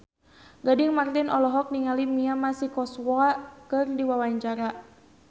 Gading Marten olohok ningali Mia Masikowska keur diwawancara